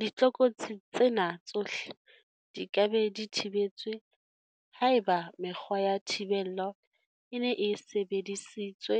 Ditlokotsi tsena tsohle di ka be di thibetswe haeba mekgwa ya thibello e ne e sebedi sitswe